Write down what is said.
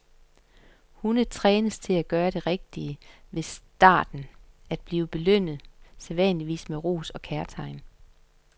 Hunde trænes til at gøre det rigtige ved i starten at blive belønnet, sædvanligvis med ros og kærtegn.